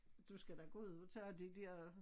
Du skal da gå ud og tage det dér